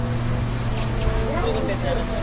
Bowling ಅಲ್ಲಾ.